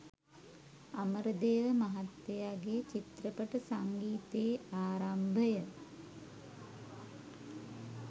අමරදේව මහත්තයාගේ චිත්‍රපට සංගීතයේ ආරම්භය